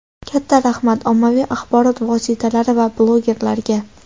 Katta rahmat, ommaviy axborot vositalari va blogerlarga.